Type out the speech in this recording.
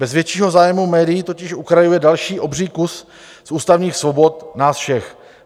Bez většího zájmu médií totiž ukrajuje dalších obří kus z ústavních svobod nás všech.